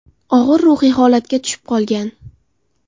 Og‘ir ruhiy holatga tushib qolgan.